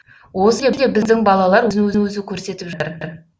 осы жерде біздің балалар өзін өзі көрсетіп жатыр